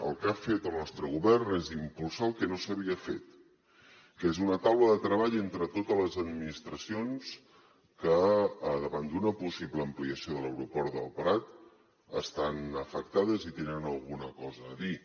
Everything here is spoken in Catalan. el que ha fet el nostre govern és impulsar el que no s’havia fet que és una taula de treball entre totes les administracions que davant d’una possible ampliació de l’aeroport del prat estan afectades i hi tenen alguna cosa a dir